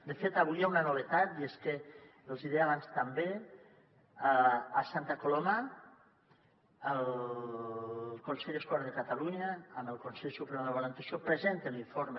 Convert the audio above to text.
de fet avui hi ha una novetat i és que els hi deia abans també a santa coloma el consell escolar de catalunya amb el consell superior d’avaluació presenten l’informe